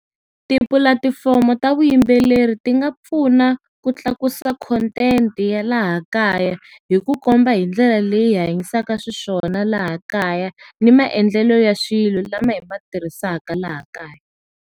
Tipulatifomo ta vuyimbeleri ti nga pfuna ku tlakusa khontenti ya laha kaya, hi ku komba hi ndlela leyi hi hanyisaka xiswona laha kaya, ni maendlelo ya swilo lama hi ma tirhisaka laha kaya.